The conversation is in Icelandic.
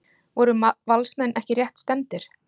Voru Valsmenn ekki rétt stefndir?